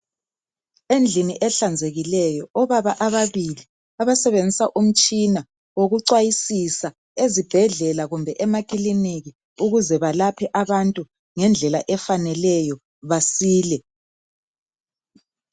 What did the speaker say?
Endlini ehlanzekileyo obaba ababili abasebenzisa umtshina okucwayisisa ezibhedlela kumbe amakiliniki ukuze balaphe abantu ngendlela efaneleyo basile.